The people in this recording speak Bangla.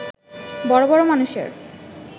বড় বড় মানুষের